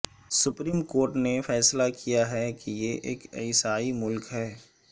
supreme court نے فیصلہ کیا ہے کہ یہ ایک عیسائی ملک ہے